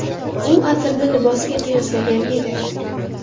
U atirni libosga qiyoslagan edi.